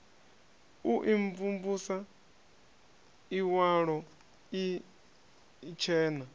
u imvumvusa iwalo ii itshena